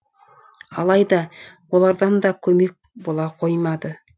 алайда олардан да көмек бола қоймады